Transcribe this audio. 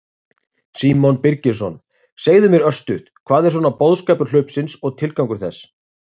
Símon Birgisson: Segðu mér örstutt, hvað er svona boðskapur hlaupsins og tilgangur þess?